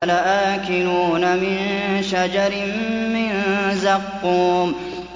لَآكِلُونَ مِن شَجَرٍ مِّن زَقُّومٍ